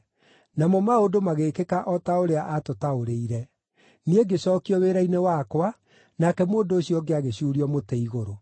Namo maũndũ magĩkĩka o ta ũrĩa aatũtaũrĩire. Niĩ ngĩcookio wĩra-inĩ wakwa, nake mũndũ ũcio ũngĩ agĩcuurio mũtĩ igũrũ.”